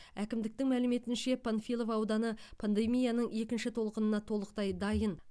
әкімдіктің мәліметінше панфилов ауданы пандемияның екінші толқынына толықтай дайын